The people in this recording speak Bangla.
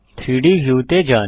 3ডি ভিউতে যান